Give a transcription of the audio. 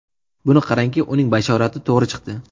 Buni qarangki, uning bashorati to‘g‘ri chiqdi.